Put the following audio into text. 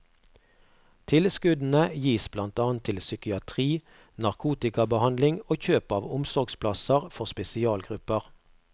Tilskuddene gis blant annet til psykiatri, narkotikabehandling og kjøp av omsorgsplasser for spesialgrupper.